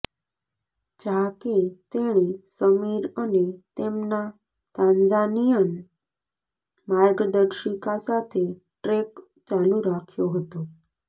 જા કે તેણે સમીર અને તેમના તાંઝાનિયન માર્ગદર્શિકા સાથે ટ્રેક ચાલુ રાખ્યો હતો